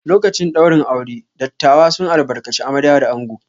Lokacin ɗaurin aure, dattawa sun albarkaci amarya da ango.